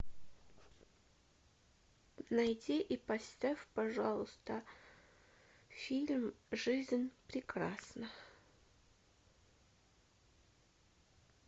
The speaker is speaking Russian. найди и поставь пожалуйста фильм жизнь прекрасна